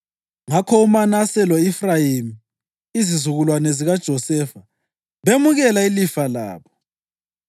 Ngakho uManase lo-Efrayimi, izizukulwane zikaJosefa, bemukela ilifa labo.